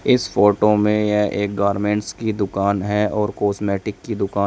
इस फोटो में यह एक गारमेंट्स की दुकान है और कॉस्मेटिक की दुकान--